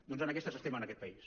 doncs en aquestes estem en aquest país